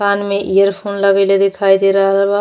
कान में इयरफ़ोन लगइले देखाई दे रहल बा।